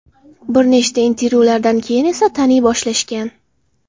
Bir necha intervyulardan keyin esa taniy boshlashgan.